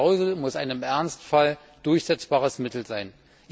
Die Klausel muss ein im Ernstfall durchsetzbares Mittel sein.